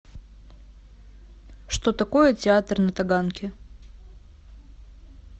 что такое театр на таганке